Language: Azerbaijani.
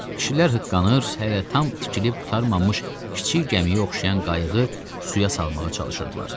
Kişilər hıqqanır, hələ tam tikilib qurtarmamış kiçik gəmiyə oxşayan qayığı suya salmağa çalışırdılar.